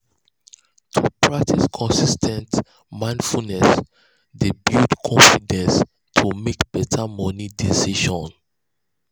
to practice consis ten t mindfulness dey build confidence to mek better moni decisions.